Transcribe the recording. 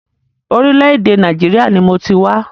Orílẹ̀-èdè Nàìjíríà ni mọ ti wá.